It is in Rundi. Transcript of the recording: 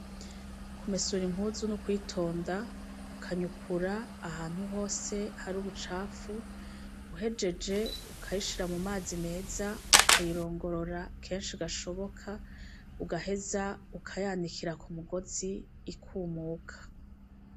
Kumesura impuzu nukwitonda ukanyukura ahantu hose hari ubucafu uhejeje ukayishira mumazi meza ukayirongorora kenshi gashoboka ugaheza ukayanikira ku mugozi ikumuka.